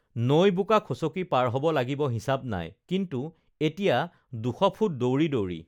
নৈ বোকা খচকি পাৰ হব লাগিব হিচাপ নাই কিন্তু এতিয়া দুশফুট দৌৰি দৌৰি